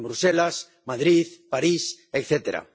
En Bruselas, Madrid, París, etcétera.